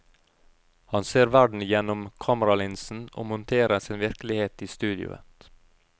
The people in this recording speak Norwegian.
Han ser verden gjennom kameralinsen og monterer sin virkelighet i studioet.